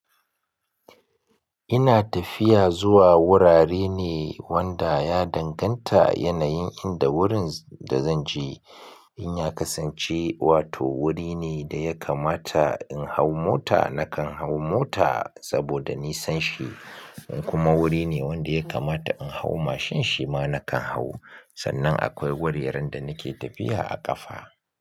Ina tafiya zuwa wurare ne wanda ya danganta yanayin inda wurin da zanje. In ya kasance wato wuri ne da ya kamata in hau mota nakan hau mota saboda nisanshi, in kuma wuri ne wanda ya kamata in hau mashin shi ma nakan hau. Sannan akwai wuraren da nake tafiya a ƙafa.